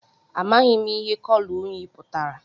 Amaghị m ihe kọlọ uyị pụtara